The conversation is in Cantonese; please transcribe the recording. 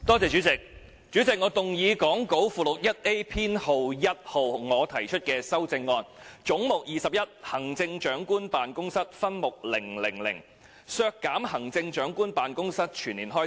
主席，我動議講稿附錄 1A 中，編號1由我提出的修正案，關於"總目 21― 行政長官辦公室"分目 000， 削減行政長官辦公室全年運作開支。